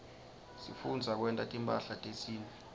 sifundza kwenta timphahla tesintfu